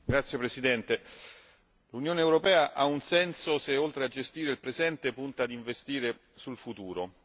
Signora Presidente, l'Unione europea ha un senso se oltre a gestire il presente punta ad investire sul futuro.